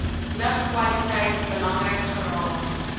lugkwaliteit belangrik geraak